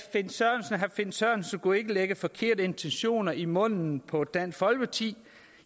herre finn sørensen ikke skulle lægge forkerte intentioner i munden på dansk folkeparti